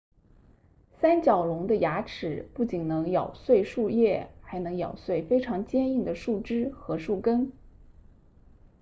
三角龙的牙齿不仅能咬碎树叶还能咬碎非常坚硬的树枝和树根